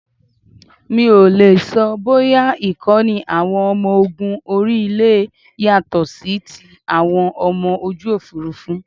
Mi ò lè sọ bóyá Ìkọ́ni àwọn ọmọ ológun orí ilé yàtọ̀ sí ti àwọn ọmọ ojú Òfurufú.